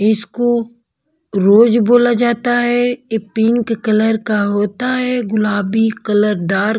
इसको रोज बोला जाता है ये पिंक कलर का होता है गुलाबी कलर डार्क --